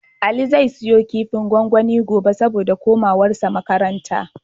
Ali zai siyo kifin gwangwani gobe, saboda komawarsa makaranta.